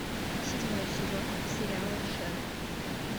седьмой сезон сериала шерлок